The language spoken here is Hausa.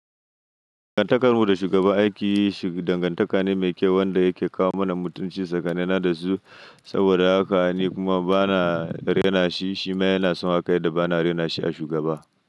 Dangantakar mu da shugaba aiki shi dangantaka ne mai kyau wanda yake kawo mana mutunci tsakanina da su saboda haka ni kuma bana rena shi, shima yana son haka yadda bana rena shi a shugaba.